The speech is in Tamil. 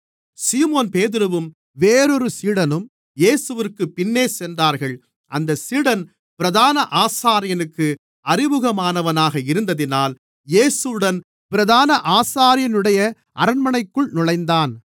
சீமோன்பேதுருவும் வேறொரு சீடனும் இயேசுவிற்குப் பின்னே சென்றார்கள் அந்தச் சீடன் பிரதான ஆசாரியனுக்கு அறிமுகமானவனாக இருந்ததினால் இயேசுவுடன் பிரதான ஆசாரியனுடைய அரண்மனைக்குள் நுழைந்தான்